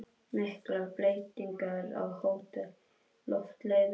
Miklar breytingar á Hótel Loftleiðum